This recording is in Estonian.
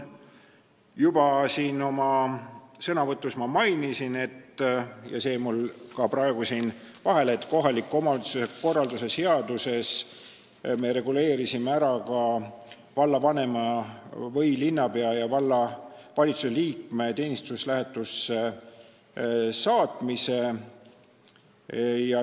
Juba oma sõnavõtus ma mainisin – see jäi mul praegu vahele –, et kohaliku omavalitsuse korralduse seaduses me reguleerisime ära ka vallavanema või linnapea ja valitsuse liikme teenistuslähetusse saatmise.